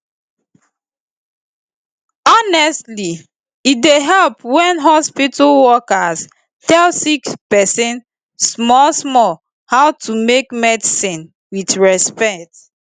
honestly e dey help wen hospitol workers tell sick pesin small small how to take medicine with respect